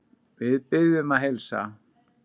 Við biðjum að heilsa.